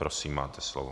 Prosím, máte slovo.